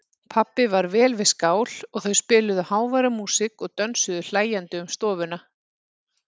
Pabbi var vel við skál og þau spiluðu háværa músík og dönsuðu hlæjandi um stofuna.